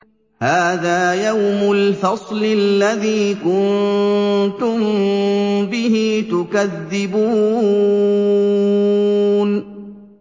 هَٰذَا يَوْمُ الْفَصْلِ الَّذِي كُنتُم بِهِ تُكَذِّبُونَ